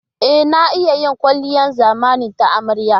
E, na iya yin kwalliyar zamani ta amarya.